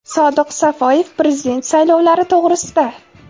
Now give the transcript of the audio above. Sodiq Safoyev prezident saylovlari to‘g‘risida.